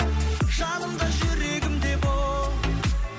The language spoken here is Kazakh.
жаным да жүрегім де бол